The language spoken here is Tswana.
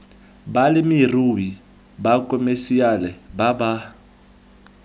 balemirui ba khomešiale ba ba